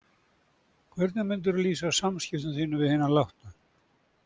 Hvernig myndirðu lýsa samskiptum þínum við hina látnu?